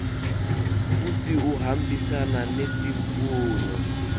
futsi uhambisana netimfuno